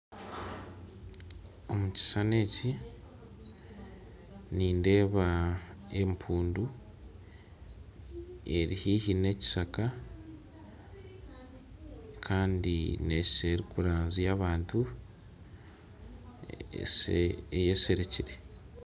Omu kishushani eki, nindeeba empundu eri haihi n'ekishaka, kandi neeshusha erikurangya abantu eyeserekere